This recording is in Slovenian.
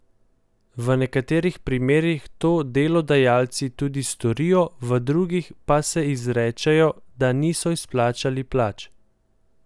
V nekaterih primerih to delodajalci tudi storijo, v drugih pa se izrečejo, da niso izplačali plač.